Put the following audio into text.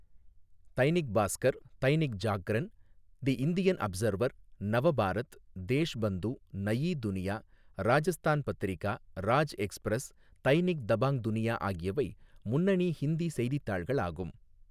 Dainik Bhaskar, Dainik Jagran, the Indian Observer, Nav Bharat, Deshbandhu, Nai Duniya, Rajasthan Patrika, Raj Express, Dainik Dabang Duniya ஆகியவை முன்னணி ஹிந்தி செய்தித்தாள்கள் ஆகும்.